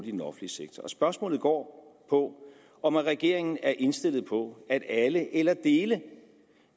i den offentlige sektor spørgsmålet går på om regeringen er indstillet på at alle eller dele